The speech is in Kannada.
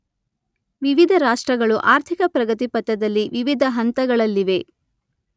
ವಿವಿಧ ರಾಷ್ಟ್ರಗಳು ಆರ್ಥಿಕ ಪ್ರಗತಿ ಪಥದಲ್ಲಿ ವಿವಿಧ ಹಂತಗಳಲ್ಲಿವೆ.